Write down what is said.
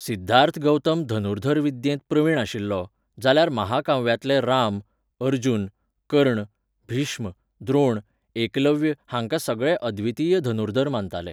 सिद्धार्थ गौतम धनुर्धर विद्येंत प्रवीण आशिल्लो, जाल्यार महाकाव्यांतले राम, अर्जुन, कर्ण, भीष्म, द्रोण, एकलव्य हांकां सगळे अद्वितीय धनुर्धर मानताले.